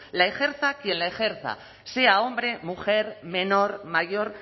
la ejerza quien lo ejerza sea hombre mujer menor mayor